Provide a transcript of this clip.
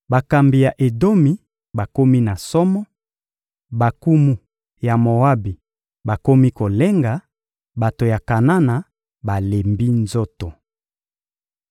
Bakambi ya Edomi bakomi na somo, bankumu ya Moabi bakomi kolenga, bato ya Kanana balembi nzoto.